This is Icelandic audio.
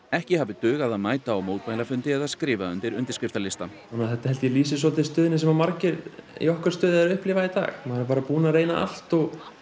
ekki hafi dugað að mæta á mótmælafundi eða skrifa undir undirskriftalista þetta held ég að lýsi svolítið stöðunni sem margir í okkar stöðu eru að upplifa í dag maður er búinn að reyna allt og